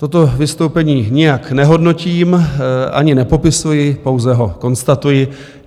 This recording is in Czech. Toto vystoupení nijak nehodnotím ani nepopisuji, pouze ho konstatuji.